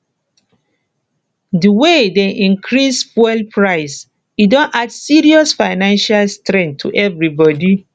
di way dem increase fuel price e don add serious financial strain to everybodi